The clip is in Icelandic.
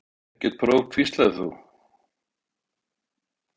Ekkert próf, hvíslaðir þú.